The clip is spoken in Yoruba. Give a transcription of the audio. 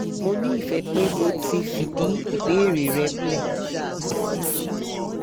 mo ní ìfẹ̀ pe mo ti fìdí ìbéèrè rẹ̀ múlẹ̀